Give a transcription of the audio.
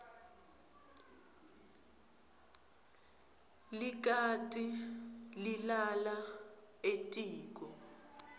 likati lilala etiko